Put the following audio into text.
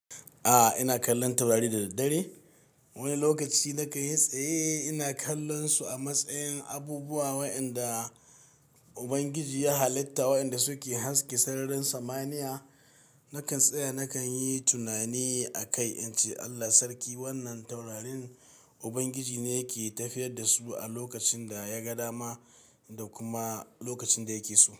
A'a, ina kallon taurari da daddare. Wani lokaci nakan yi tsaye ina kallonsu a matsayin abubuwa waɗanda Ubangiji ya halitta waɗanda suke haske sararin samaniya. Nakan tsaya nakan yi tunani a kai in ce Allah Sarki wannan taurarin Ubangiji ne yake tafiyar da su a lokacin da ya ga dama da kuma lokacin da yake so.